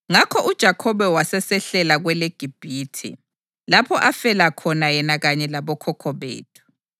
Ngakho uJakhobe wasesehlela kweleGibhithe lapho afela khona yena kanye labokhokho bethu.